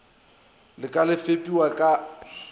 la ka le fepiwa ka